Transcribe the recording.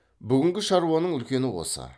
бүгінгі шаруаның үлкені осы